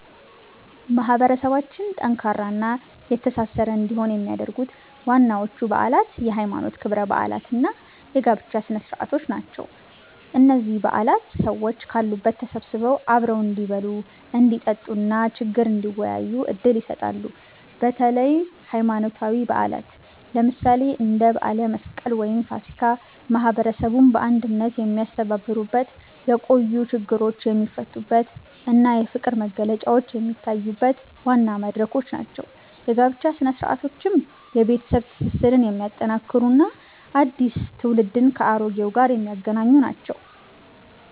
ማህበረሰባችን ጠንካራና የተሳሰረ እንዲሆን የሚያደርጉት ዋናዎቹ በዓላት የሃይማኖት ክብረ በዓላት እና የጋብቻ ስነ-ስርዓቶች ናቸው። እነዚህ በዓላት ሰዎች ካሉበት ተሰብስበው አብረው እንዲበሉ፣ እንዲጠጡ እና ችግር እንዲወያዩ ዕድል ይሰጣሉ። በተለይም ሃይማኖታዊ በዓላት፣ ለምሳሌ እንደ በዓለ መስቀል ወይም ፋሲካ፣ ማህበረሰቡን በአንድነት የሚያስተሳስሩበት፣ የቆዩ ችግሮች የሚፈቱበት እና የፍቅር መግለጫዎች የሚታዩበት ዋና መድረኮች ናቸው። የጋብቻ ሥነ-ስርዓቶችም የቤተሰብ ትስስርን የሚያጠናክሩ እና አዲስ ትውልድን ከአሮጌው ጋር የሚያገናኙ ናቸው።